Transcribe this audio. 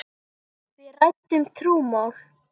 Við ræddum trúmál.